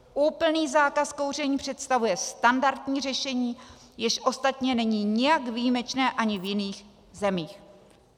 Úplný zákaz kouření představuje standardní řešení, jež ostatně není nijak výjimečné ani v jiných zemích.